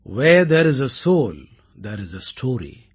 where there is a soul there is a story